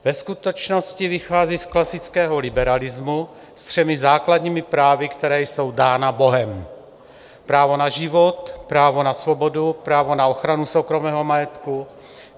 Ve skutečnosti vychází z klasického liberalismu se třemi základními právy, která jsou dána bohem - právo na život, právo na svobodu, právo na ochranu soukromého majetku.